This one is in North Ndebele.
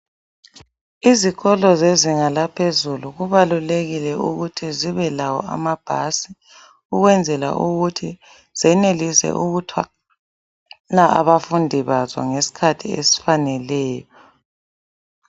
Izikolo zezinga laphezulu kubalulekile ukuthi zibelawo amabhasi ukwenzela ukuthi zenelise ukuthwala abafundi bazo ngesikhathi esifaneleyo.